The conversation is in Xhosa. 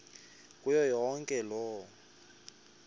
kuyo yonke loo